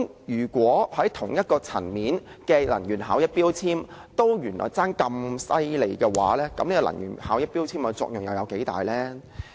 如果取得同一級別的能源標籤，耗能原來也相差甚遠，能源標籤的作用又有多大？